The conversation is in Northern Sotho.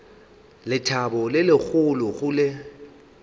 lethabo le legolo go le